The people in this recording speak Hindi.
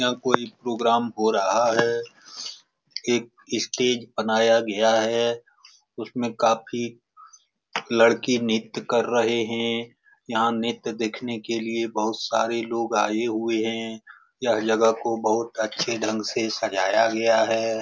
यहाँ कोई प्रोग्राम हो रहा है। एक स्टेज बनाया गया है। उसमें काफी लड़की नृत्य कर रहें हैं। यहाँ नृत्य देखने के लिए बहुत सारे लोग आए हुए हैं। यह जगह को बहुत अच्छे ढंग से सजाया गया है।